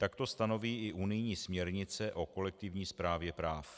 Toto stanoví i unijní směrnice o kolektivní správě práv.